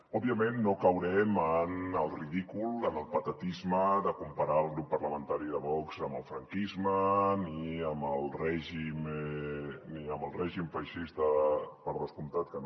òbviament no caurem en el ridícul en el patetisme de comparar el grup parlamentari de vox amb el franquisme ni amb el règim feixista per descomptat que no